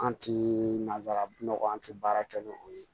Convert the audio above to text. An ti nanzara nɔgɔ an ti baara kɛ ni o ye